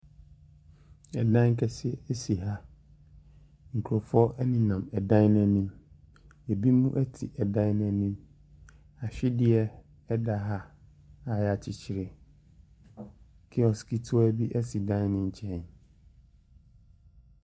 Dan kɛseɛ si ha. Nkurɔfoɔ nenam dan no anim. Ebinom te dan no anim. Ahwedeɛ da ha a wɔakyekyere. Kiosk ketewa bi si dan no nkyɛn.